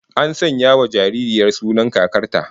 An sanya wa jaririyar sunan kakar ta